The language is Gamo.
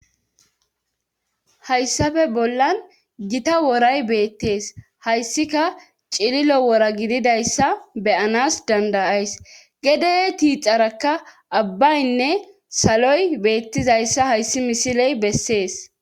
Hayssafe bollan gita woray beettees hayssika cililo wora gididayssa beyanas dandayays gede tiixarakka abbaynne saloy beettizayssa hayssi misiley bessees.